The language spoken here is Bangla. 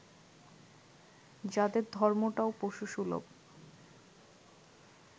যাদের ধর্মটাও পশুসুলভ